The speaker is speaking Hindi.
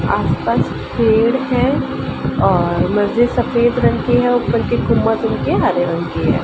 आस पास पेड़ हैं और मस्जिद सफ़ेद रंग की हैं उपर की खुम्मस उनके हरे रंग की हैं।